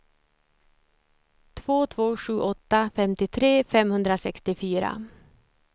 två två sju åtta femtiotre femhundrasextiofyra